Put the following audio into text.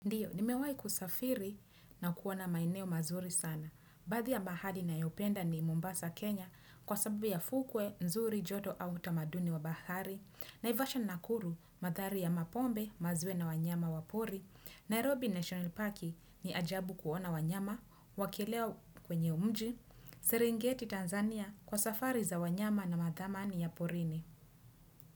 Ndiyo, nimewahi kusafiri na kuona maeneo mazuri sana. Baadhi ya bahari nayopenda ni Mombasa, Kenya kwa sababu ya fukwe, nzuri, joto au tamaduni wa bahari. Naivasha nakuru, madhari ya mapombe, maziwa na wanyama wa pori. Nairobi National Park ni ajabu kuona wanyama, wakilea kwenye mji. Serengeti Tanzania kwa safari za wanyama na madhamani ya porini.